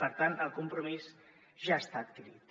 per tant el compromís ja ha estat adquirit